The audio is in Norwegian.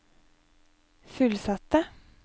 fullsatte